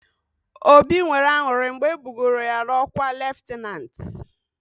Obi nwere aṅụrị mgbe e bugoro ya ọkwa leftanantị.